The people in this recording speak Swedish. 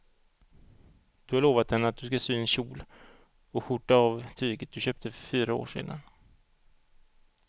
Du har lovat henne att du ska sy en kjol och skjorta av tyget du köpte för fyra år sedan.